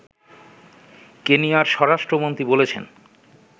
কেনিয়ার স্বরাষ্ট্রমন্ত্রী বলেছেন